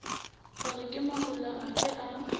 hore ke mahola afe a